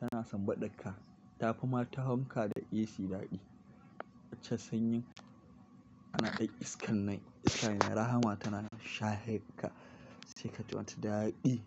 tana sanbaɗar ka. Ta fi ma ta fanka da AC daɗi. Wancan sanyin kana kai iskar nan, iskar yana rahama tana shahe ka sai kaji wata daɗi.